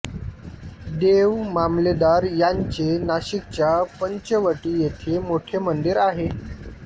देवमामलेदार यांचे नाशिकच्या पंचवटी येथे मोठे मंदिर आहे